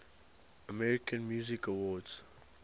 american music awards